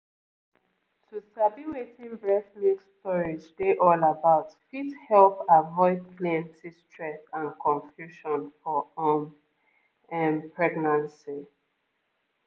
um to sabi wetin breast milk storage dey all about fit help avoid plenty stress and confusion for um ehm pregnancy